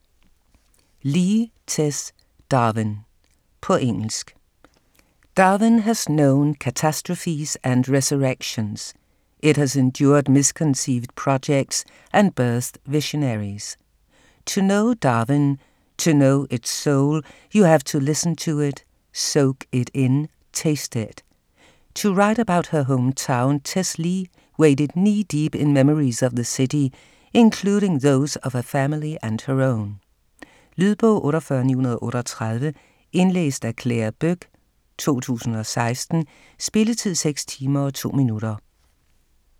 Lea, Tess: Darwin På engelsk. Darwin has known catastrophes and resurrections; it has endured misconceived projects and birthed visionaries. To know Darwin, to know its soul, you have to listen to it, soak in it, taste it. To write about her home town, Tess Lea waded knee-deep in memories of the city, including those of her family and her own. Lydbog 48938 Indlæst af Clare Boek, 2016. Spilletid: 6 timer, 2 minutter.